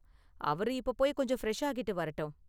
அவரு இப்போ போய் கொஞ்சம் ஃபிரெஷ் ஆகிட்டு வரட்டும்.